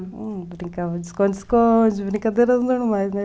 Brincava de esconde-esconde, brincadeiras normais, né?